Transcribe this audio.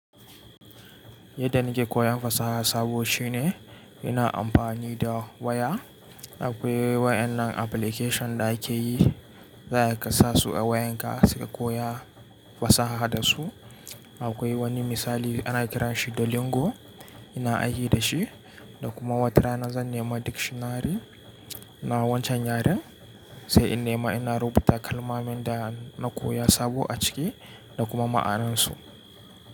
Yadda nake koyan fasaha sabo shine ina amfani da waya. Akwai wayannan application da ake yi, za a kasasu a wayanka sai ka koya fasaha da su. Akwai wani misali ana kiranshi Duolingo, ina aiki da shi da kuma wata rana zan nema dictionary na wancan yaren sai in nema ina rubuta kalmomin da na koya sabo a ciki da kuma ma'anansu.